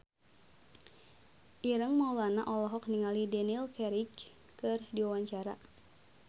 Ireng Maulana olohok ningali Daniel Craig keur diwawancara